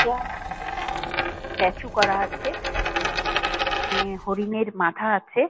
স্ট্যা আহ স্ট্যাচু করা আছে। আহ এখানে হরিনের মাথা আছে।